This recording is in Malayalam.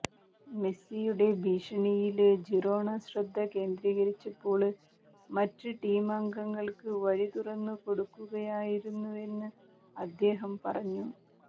മെസിയുടെ ഭീഷണിയില് ജിറോണ ശ്രദ്ധ കേന്ദ്രീകരിച്ചപ്പോള് മറ്റ് ടീം അംഗങ്ങള്ക്ക് വഴി തുറന്നു കൊടുക്കുകയായിരുന്നുവെന്ന് അദ്ദേഹം പറഞ്ഞു